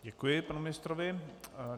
Děkuji panu ministrovi.